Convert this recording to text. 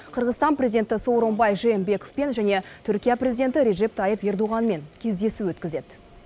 қырғызстан президенті сооронбай жээнбековпен және түркия президенті реджеп тайып эрдоғанмен кездесу өткізеді